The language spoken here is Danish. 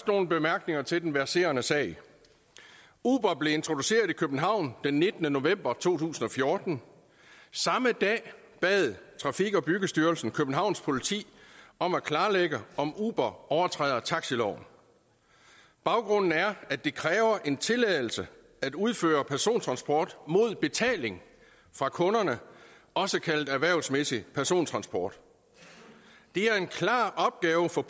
nogle bemærkninger til den verserende sag uber blev introduceret i københavn den nittende november to tusind og fjorten samme dag bad trafik og byggestyrelsen københavns politi om at klarlægge om uber overtræder taxiloven baggrunden er at det kræver en tilladelse at udføre persontransport mod betaling fra kunderne også kaldet erhvervsmæssig persontransport det er en klar opgave for